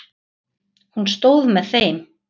Hún stóð með þeim.